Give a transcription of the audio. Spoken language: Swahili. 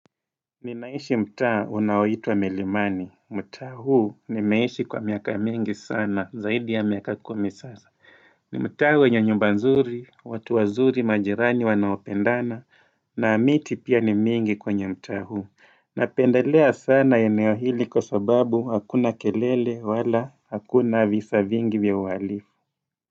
Ninaishi mtaa unaoitwa milimani, mtaa huu nimeishi kwa miaka mingi sana zaidi ya miaka kumi sasa. Ni mtaa wenye nyumba nzuri, watu wazuri majirani wanaopendana, na miti pia ni mingi kwenye mtaa huu. Napendelea sana eneo hili kwa sababu hakuna kelele wala hakuna visa vingi vya uhalifu.